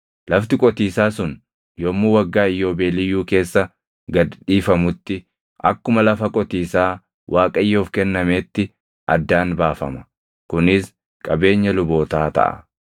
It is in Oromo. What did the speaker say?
Lafti qotiisaa sun yommuu Waggaa Iyyoobeeliyyuu keessa gad dhiifamutti akkuma lafa qotiisaa Waaqayyoof kennameetti addaan baafama; kunis qabeenya lubootaa taʼa.